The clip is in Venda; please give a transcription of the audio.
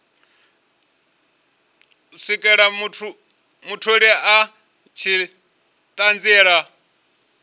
swikela mutholi a tshi ṱanziela